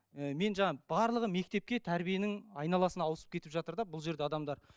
ы мен жаңа барлығы мектепке тәрбиенің айналасына ауысып кетіп жатыр да бұл жерде адамдар